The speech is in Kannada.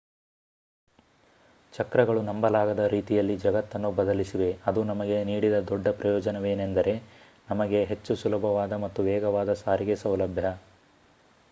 ಚಕ್ರಗಳು ನಂಬಲಾಗದ ರೀತಿಯಲ್ಲಿ ಜಗತ್ತನ್ನು ಬದಲಿಸಿವೆ ಅದು ನಮಗೆ ನೀಡಿದ ದೊಡ್ಡ ಪ್ರಯೋಜನವೇನೆಂದರೆ ನಮಗೆ ಹೆಚ್ಚು ಸುಲಭವಾದ ಮತ್ತು ವೇಗವಾದ ಸಾರಿಗೆ ಸೌಲಭ್ಯ